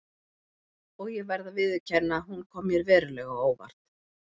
Og ég verð að viðurkenna að hún kom mér verulega á óvart.